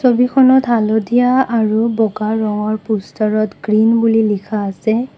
ছবিখনত হালধীয়া আৰু বগা ৰঙৰ পোষ্টাৰত গ্ৰীণ বুলি লিখা আছে।